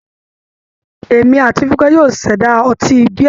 Èmi àti Fúnkẹ́ yóò ṣẹ̀dá ọtí bíà.